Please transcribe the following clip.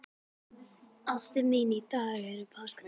Ástin mín, í dag er páskadagur.